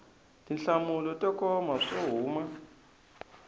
tinhlamulo to koma swo huma